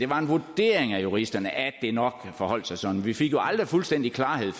var en vurdering af juristerne at det nok forholdt sig sådan vi fik jo aldrig fuldstændig klarhed